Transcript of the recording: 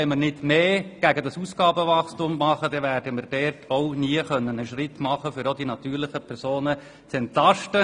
Wenn wir nicht stärker gegen das Ausgabenwachstum vorgehen, werden wir nie einen Schritt weiterkommen, um die natürlichen Personen zu entlasten.